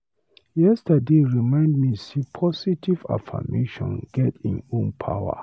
Yesterday dey remind me sey positive affirmation get im own power.